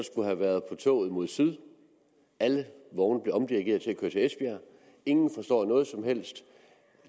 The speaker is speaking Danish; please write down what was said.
skulle have været med toget mod syd alle vogne blev omdirigeret til esbjerg ingen forstår noget som helst